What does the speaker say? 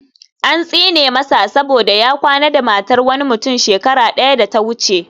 An tsine masa saboda ya kwana da matar wani mutum shekara daya da ta wuce